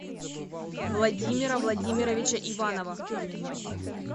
владимира владимировича иванова